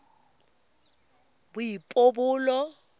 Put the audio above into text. boipobolo